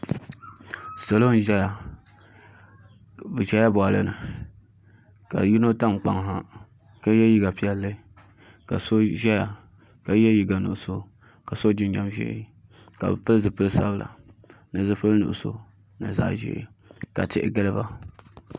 Salo n ʒɛya bi ʒɛla boɣali ni ka yino tam kpaŋ ha ka yɛ liiga piɛlli ka so ʒɛya ka yɛ liiga nuɣso ka so jinjɛm ʒiɛ ka pili zipili sabinli ni zipili nuɣso ni zaɣ ʒiɛ ka tihi giliba